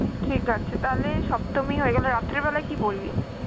ঠিক আছে তাহলে সপ্তমী হয়ে গেল, রাত্রিবেলা কি পরবি?